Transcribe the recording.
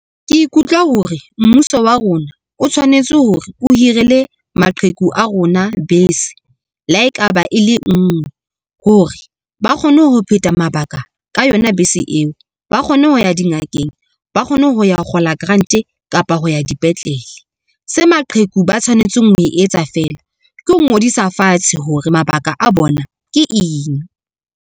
Ke ikutlwa hore mmuso wa rona o tshwanetse hore o hirele maqheku a rona bese, le ha ekaba e le ngwe hore ba kgone ho phetha mabaka ka yona bese eo. Ba kgone ho ya dingakeng, ba kgone ho ya kgola grant kapa ho ya dipetlele se maqheku ba tshwanetseng ho se etsa feela, ke ho ngodisa fatshe hore mabaka a bona ke eng.